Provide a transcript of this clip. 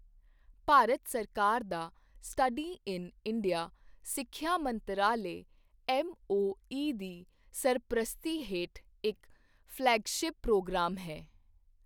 ਭਾਰਤ ਸਰਕਾਰ ਦਾ study in India ਸਿੱਖਿਆ ਮੰਤਰਾਲੇ ਐੱਮਓਈ ਦੀ ਸਰਪ੍ਰਸਤੀ ਹੇਠ ਇੱਕ ਫਲੈਗਸ਼ਿਪ ਪ੍ਰੋਗਰਾਮ ਹੈ।